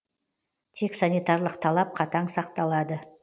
тек санитарлық талап қатаң сақталады